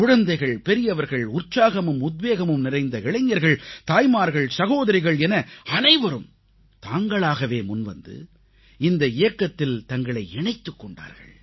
குழந்தைகள் பெரியவர்கள் உற்சாகமும் உத்வேகமும் நிறைந்த இளைஞர்கள் தாய்மார்கள் சகோதரிகள் என அனைவரும் தாங்களாகவே முன்வந்து இந்த இயக்கத்தில் தங்களை இணைத்துக் கொண்டார்கள்